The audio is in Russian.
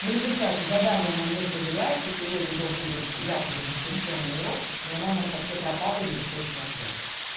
в результате задание она не проверяет и сегодня должен быть якобы дистанционный урок но она у нас вообще пропала и не выходит на связь